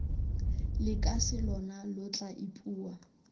lekase lona lo tla ipua